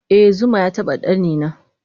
eh zuma yataba ɗanina